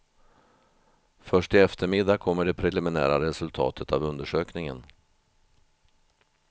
Först i eftermiddag kommer det preliminära resultat av undersökningen.